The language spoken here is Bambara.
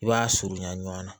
I b'a surunya ɲɔgɔn na